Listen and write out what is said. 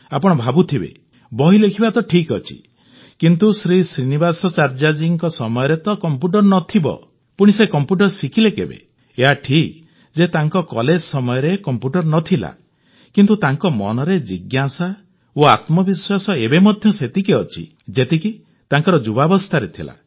ଆପଣ ଭାବୁଥିବେ ବହି ଲେଖିବା ତ ଠିକ୍ ଅଛି କିନ୍ତୁ ଶ୍ରୀନିବାସାଚାର୍ଯ୍ୟ ଜୀଙ୍କ ସମୟରେ ତ କଂପ୍ୟୁଟର ହିଁ ନଥିବ ପୁଣି ସେ କଂପ୍ୟୁଟର ଶିଖିଲେ କେବେ ଏହା ଠିକ୍ ଯେ ତାଙ୍କ କଲେଜ ସମୟରେ କଂପ୍ୟୁଟର ନ ଥିଲା କିନ୍ତୁ ତାଙ୍କ ମନରେ ଜିଜ୍ଞାସା ଓ ଆତ୍ମବିଶ୍ୱାସ ଏବେ ମଧ୍ୟ ସେତିକି ଅଛି ଯେତିକି ତାଙ୍କର ଯୁବାବସ୍ଥାରେ ଥିଲା